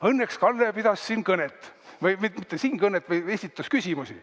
Õnneks Kalle pidas siin kõnet või mitte kõnet, vaid esitas küsimusi.